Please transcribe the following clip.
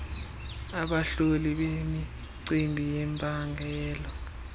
abahloli bemicimbi yempangelo